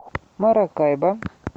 маракайбо